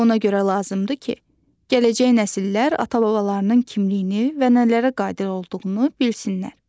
Bu ona görə lazımdır ki, gələcək nəsillər ata-babalarının kimliyini və nələrə qadir olduğunu bilsinlər.